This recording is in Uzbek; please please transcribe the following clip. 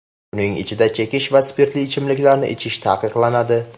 Uning ichida chekish va spirtli ichimliklarni ichish taqiqlanadi.